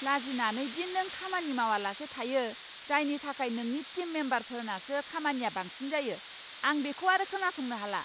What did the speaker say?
लाजिनानै दि नों खामानि मावालासे थायो, जायनि थाखाय नोंनि टिम मेम्बारफोरनासो खामानिया बांसिन जायो, आं बेखौ आरो खोनासंनो हाला!